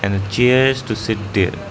And chairs to sit there.